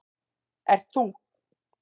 ert ÞÚ.